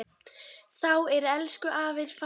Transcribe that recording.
Þá er elsku afi farinn.